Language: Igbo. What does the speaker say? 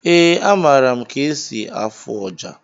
Ee, amara m ka esi afụ ọjà